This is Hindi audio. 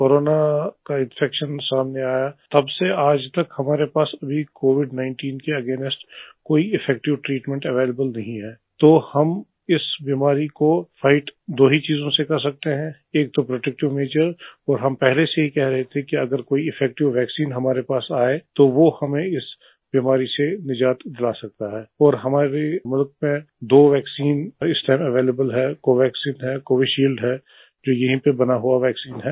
जब हम कोरोना का इन्फेक्शन सामने आया तब से आज तक हमारे पास कोविड 19 के लिए कोई इफेक्टिव ट्रीटमेंट अवेलेबल नहीं है तो हम इस बीमारी को फाइट दो ही चीजों से कर सकते हैं एक तो प्रोटेक्टिव मजोर और हम पहले से ही कह रहे थे कि अगर कोई इफेक्टिव वैक्सीन हमारे पास आए तो वो हमें इस बीमारी से निजाद दिला सकता है और हमारे मुल्क में दो वैक्सीन इस टाइम अवेलेबल है कोवैक्सिन एंड कोविशील्ड है जो यहीं पर बना हुआ वैक्सीन है